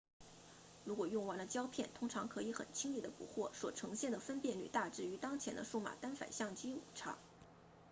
如果用完了胶片通常可以很轻易地补货所呈现的分辨率大致与当前的数码单反相机无差